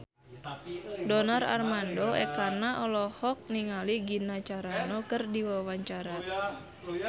Donar Armando Ekana olohok ningali Gina Carano keur diwawancara